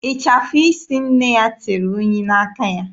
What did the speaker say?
Ịchafụ isi nne ya tere unyi n'aka ya.